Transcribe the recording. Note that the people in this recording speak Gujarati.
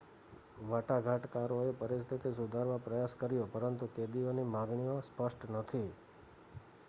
વાટાઘાટકારોએ પરિસ્થિતિ સુધારવાપ્રયાસ કર્યો પરંતુ કેદીઓની માગણીઓ સ્પષ્ટ નથી